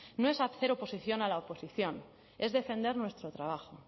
no es hacer oposición a la oposición es defender nuestro trabajo